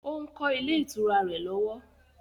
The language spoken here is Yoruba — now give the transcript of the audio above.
Ó ń kọ́ ilé ìtura rẹ̀ lọ́wọ́